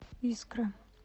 искра